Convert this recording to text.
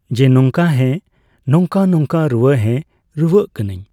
ᱡᱮ ᱱᱚᱝᱠᱟ, ᱦᱮᱸ᱾ ᱱᱚᱝᱠᱟᱼᱱᱚᱝᱠᱟ ᱨᱩᱣᱟᱹ, ᱦᱮᱸ ᱨᱩᱣᱟᱹᱜ ᱠᱟᱱᱟᱹᱧ᱾